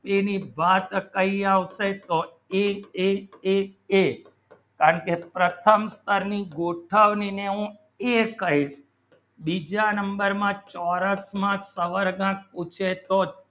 એની વાત કહી આવશે તો એ એ એ એ અને પ્રથમ કરીને ગોઠવણી ને હું બીજા number ચૌઉર્સ માં ખબર પૂછે તો